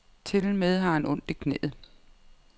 Tilmed har han ondt i knæet.